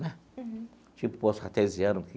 Né. Uhum. Tipo poço artesiano.